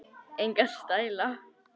Enga stæla